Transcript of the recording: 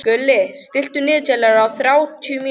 Gulli, stilltu niðurteljara á þrjátíu mínútur.